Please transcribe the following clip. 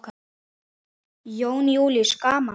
Jón Júlíus: Gaman?